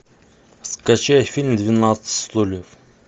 скачай фильм двенадцать стульев